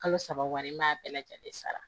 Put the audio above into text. Kalo saba wari n ma bɛɛ lajɛlen sara